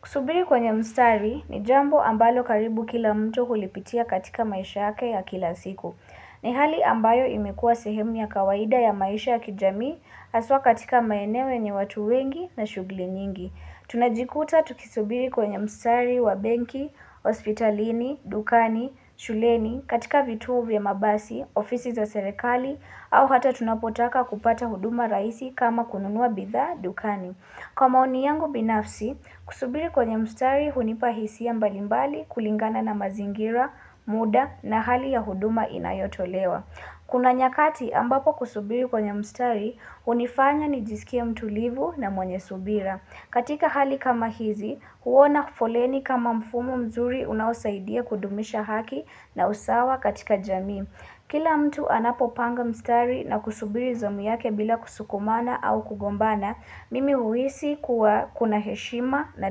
Kusubiri kwenye mstari ni jambo ambalo karibu kila mtu hulipitia katika maisha hake ya kila siku. Ni hali ambayo imekua sehemu ya kawaida ya maisha ya kijamii aswa katika maeneo nye watu wengi na shugli nyingi. Tunajikuta tukisubiri kwenye mstari wa benki, hospitalini, dukani, shuleni, katika vituu vya mabasi, ofisi za serekali, au hata tunapotaka kupata huduma raisi kama kununua bitha dukani. Kwa maoni yangu binafsi, kusubiri kwenye mstari hunipahisi ya mbalimbali kulingana na mazingira, muda na hali ya huduma inayotolewa. Kuna nyakati ambapo kusubiri kwenye mstari, hunifanya nijisikia mtulivu na mwenye subira. Katika hali kama hizi, huona kufoleni kama mfumo mzuri unausaidia kudumisha haki na usawa katika jamii. Kila mtu anapopanga mstari na kusubiri zamu yake bila kusukumana au kugombana, mimi huisi kuwa kuna heshima na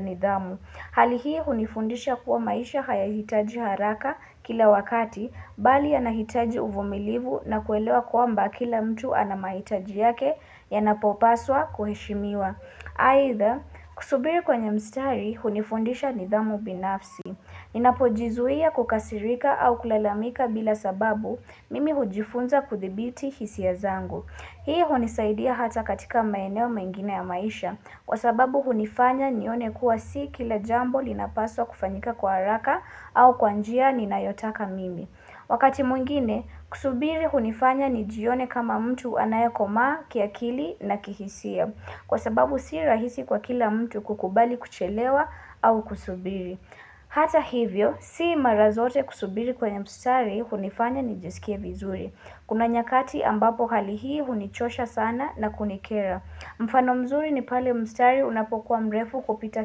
nidhamu. Halihi hunifundisha kuwa maisha haya hitaji haraka kila wakati, bali anahitaji uvumilivu na kuelewa kuwa mba kila mtu anamahitaji yake ya napopaswa kuheshimiwa. Aitha, kusubiri kwenye mstari, hunifundisha nidhamu binafsi. Ninapo jizuia kukasirika au kulalamika bila sababu mimi hujifunza kuthibiti hisi ya zangu. Hii hunisaidia hata katika maeneo mengine ya maisha. Kwa sababu hunifanya nione kuwa si kila jambo linapaswa kufanyika kwa haraka au kwanjia nina yotaka mimi. Wakati mwingine, kusubiri hunifanya nijione kama mtu anayako maa, kiakili na kihisia. Kwa sababu si rahisi kwa kila mtu kukubali kuchelewa au kusubiri. Hata hivyo, sii mara zote kusubiri kwenye mstari hunifanya nijesikie vizuri. Kuna nyakati ambapo hali hii hunichosha sana na kunikera. Mfano mzuri ni pale mstari unapokuwa mrefu kupita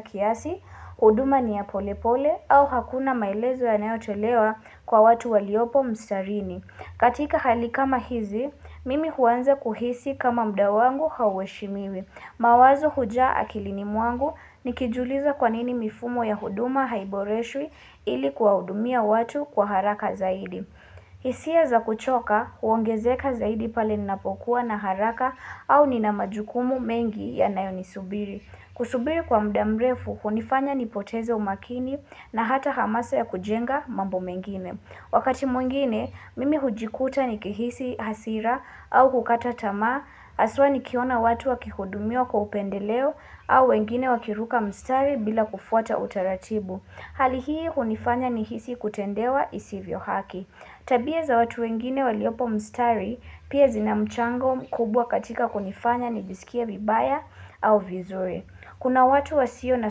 kiasi, huduma ni ya pole pole au hakuna maelezo ya naeotelewa kwa watu waliopo mstarini. Katika hali kama hizi, mimi huanza kuhisi kama muda wangu haweshi mimi. Mawazo huja akilini mwangu ni kijuliza kwa nini mifumo ya huduma haiboreshui ili kwa hudumia watu kwa haraka zaidi. Hisia za kuchoka, huongezeka zaidi pale ninapokuwa na haraka au ninamajukumu mengi ya nayonisubiri. Kusubiri kwa muda mrefu, kunifanya nipoteze umakini na hata hamasa ya kujenga mambo mengine. Wakati mwengine, mimi hujikuta ni kehisi hasira au kukata tama, aswa ni kiona watu wakikudumio kwa upendeleo au wengine wakiruka mstari bila kufuata utaratibu. Halihii kunifanya ni hisi kutendewa isivyo haki. Tabia za watu wengine waliopo mstari, pia zina mchango kubwa katika kunifanya ni jisikia vibaya au vizure. Kuna watu wasio na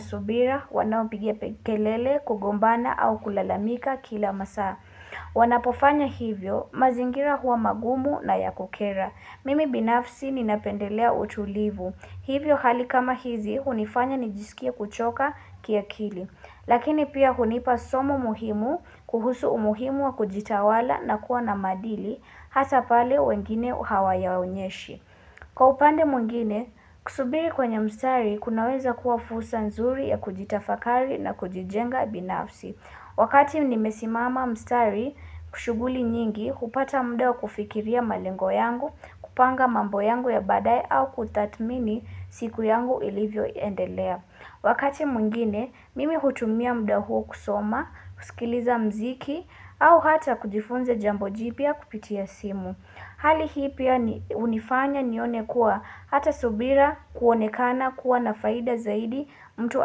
subira wanao pigia pekelele kugombana au kulalamika kila masaa. Wanapofanya hivyo mazingira huwa magumu na ya kukera. Mimi binafsi ninapendelea utulivu. Hivyo hali kama hizi hunifanya nijisikia kuchoka kia kili. Lakini pia hunipa somo muhimu kuhusu umuhimu wa kujitawala na kuwa na madili hasapale wengine hawa ya unyeshi. Kwa upande mwengine, kusubiri kwenye mstari kunaweza kuwa fusa nzuri ya kujitafakari na kujijenga binafsi. Wakati mnimesimama mstari kushuguli nyingi, kupata mdao kufikiria malengo yangu, kupanga mambo yangu ya badai au kutatmini siku yangu ilivyo endelea. Wakati mwengine, mimi hutumia mdao kusoma, kusikiliza mziki au hata kujifunze jambo jipia kupitia simu. Hali hii pia unifanya nione kuwa hata subira kuonekana kuwa na faida zaidi mtu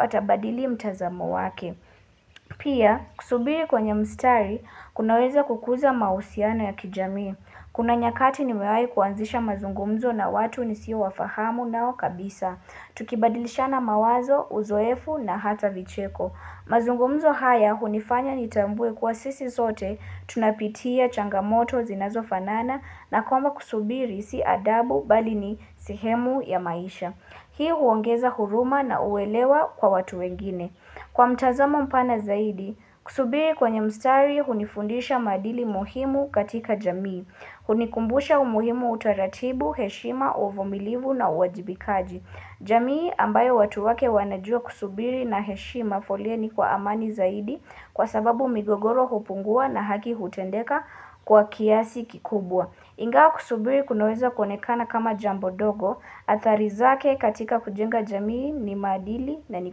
atabadili mtazamo wake. Pia, kusubiri kwenye mstari, kunaweza kukuza mahusiana ya kijami. Kuna nyakati ni mewai kuanzisha mazungumzo na watu nisi wafahamu nao kabisa. Tukibadilisha na mawazo, uzoefu na hata vicheko. Mazungo mzo haya hunifanya nitambwe kwa sisi sote tunapitia changamoto zinazo fanana na koma kusubiri si adabu bali ni sihemu ya maisha. Hii huongeza huruma na uwelewa kwa watu wengine. Kwa mtazamo mpana zaidi, kusubiri kwenye mstari hunifundisha madili muhimu katika jamii. Hunikumbusha umuhimu utaratibu, heshima, uvomilivu na uwajibikaji. Jamii ambayo watu wake wanajua kusubiri na heshi mafolieni kwa amani zaidi kwa sababu migogoro hupungua na haki hutendeka kwa kiasi kikubwa. Ingao kusubiri kunoweza konekana kama jambo dogo, atarizake katika kujenga jamii ni madili na ni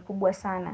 kubwa sana.